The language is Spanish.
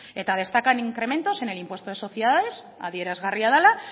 eta destacan en incrementos en el impuesto de sociedades adierazgarria dela